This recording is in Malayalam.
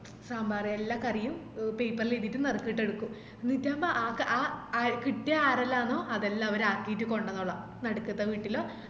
സാമ്പാര് എല്ല കറിയും paper ല് എയ്‌തിട്ട് നറുക്കിട്ടെടുക്കും ന്നിറ്റമ്പോ അത് അ കിട്ടിയ ആരെല്ലാന്നോ അതെല്ലാം അവരക്കിറ്റ് കൊണ്ടന്നോള നടുക്കത്ത വീട്ടിലോ